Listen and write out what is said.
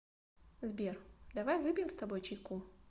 сбер давай выпьем с тобой чайку